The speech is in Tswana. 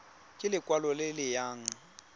ke lekwalo le le nayang